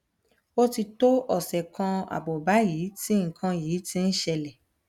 ó ti tó ọsẹ kan ààbọ báyìí tí nǹkan yìí ti ń ṣẹlẹ